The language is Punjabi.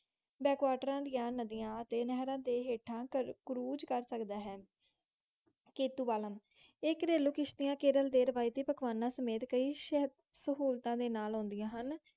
ਬੈੱਕਤਾਰਾ ਦੇਇ ਨਦੀ ਅਪਤੀ ਨਹਿਰ ਹਟਾ ਕਰੂਜ਼ ਕਰ ਸਕਦਾ ਹੈ, ਕਤੁਵਾਲਾਂ ਇਹ ਕਰਲੂ ਕੀਤੀਆਂ ਕੇਰਲ ਦੇ ਕੀ ਪਕਵਾਨ ਦੇ ਨਾਲ ਕਿ ਸਹੂਲਤਾਂ ਨਾਲ ਅੰਡਿਆਂ ਹਨ ਹੁੰਦਾ ਹੈ